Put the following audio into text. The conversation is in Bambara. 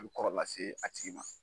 A bɛ kɔrɔ lase a tigi ma.